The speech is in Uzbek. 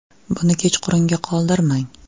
Buni kechqurunga qoldirmang.